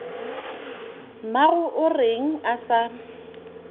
mmago o reng a sa